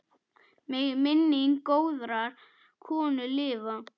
Megi minning góðrar konu lifa.